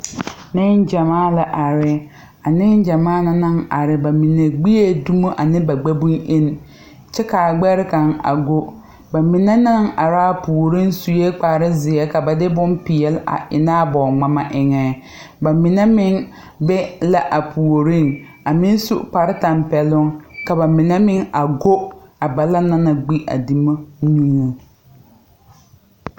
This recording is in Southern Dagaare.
Neŋ gyamaa la are a neŋ gyamaa na naŋ are ba mine gbiee dumo ane ba gbɛ bonyeni kyɛbkaa gbɛre kaŋ a go ba mine naŋ araa puoriŋ suee kparezeɛ ka ba de bon peɛle a eŋ naa bɔɔ ngmama eŋɛ ba mine meŋ be la a puoriŋ a meŋ su kpare tampɛloŋ ka ba mine meŋ a go a balaŋ na gbi dumo neŋeŋ.